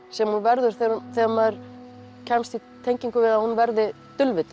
sem hún verður þegar maður kemst í tengingu við að hún verði